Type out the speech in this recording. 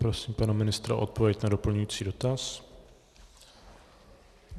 Prosím pana ministra o odpověď na doplňující dotaz.